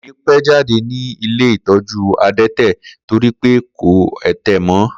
Kò ní pẹ́ jáde ní ilé ìtọ́jú adẹ́tẹ̀ torí pé kò ẹ̀tẹ̀ mọ́.